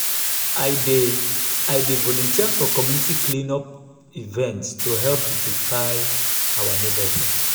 i dey i dey volunteer for community clean-up events to help beautify our neighborhood.